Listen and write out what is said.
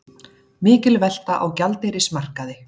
Mikil velta á gjaldeyrismarkaði